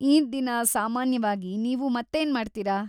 ಈದ್‌ ದಿನ ಸಾಮಾನ್ಯವಾಗಿ ನೀವು ಮತ್ತೇನ್‌ ಮಾಡ್ತೀರಾ?